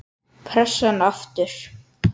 Pressan aftur.